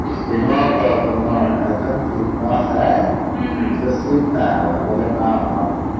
ଶୁଣ ତ ଶୁଣ ଏଥନ ଶିଖିବାର ସେ ସେ ଶିଖ ନାଇ ବୋଲେ ଭାବିଲେ କଣ ହବ